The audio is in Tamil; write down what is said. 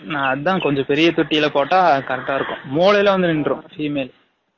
அதான் கொஞ்சம் பெரிய தொட்டில போட்டாம் correct ஆ இருக்கும் மூலைல வந்து நின்றும் female